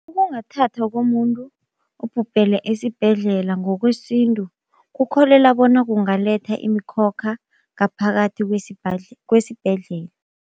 Ukungathathwa komuntu obhubhele esibhedlela ngokwesintu, kukholela bona kungaletha imikhokha ngaphakathi kwesibhedlela.